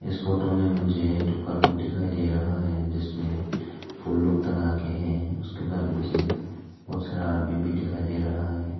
इस फोटो में मुझे एक दुकान लोग दिखाई दे रहा है जिसमें फूल लोग टंगा के हैं उसके बाहर मुझे बहुत सारा आदमी दिखाई दे रहा है।